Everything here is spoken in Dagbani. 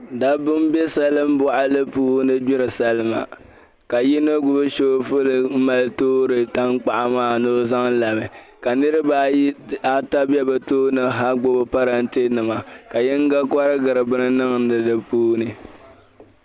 Dabiba n be salimbuɣili ni gbiri salima ka yino gbubi soobuli toori tankpaɣu ni o zaŋ labi, ka niriba ata gbubi parantenima ka yino korigiri bini niŋdi di puuni.